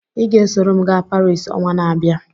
Ị ga-esoro m gaa Paris ọnwa n’abịa?